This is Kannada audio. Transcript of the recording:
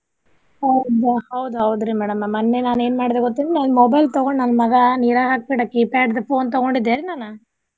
ಹೌದ ಹೌದ್ ಹೌದ್ರಿ madam ನಾ ಮನ್ನೆ ನಾನ್ ಏನ್ ಮಾಡಿದೆ ಗೊತ್ತ ನನ್ನ್ mobile ತೊಗೊಂಡ್ ನನ್ನ ಮಗಾ ನೀರಾಗ ಹಾಕಿ ಬಿಟ್ಟ keypad ದ್ phone ತೊಗೊಂಡಿದ್ದೇರಿ ನಾನ.